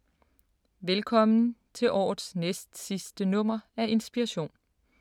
Velkommen til årets næstsidste nummer af Inspiration.